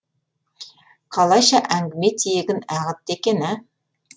қалайша әңгіме тиегін ағытты екен а